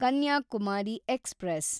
Kanyakumari express